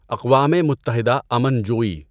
اقوام متحده امن جوئی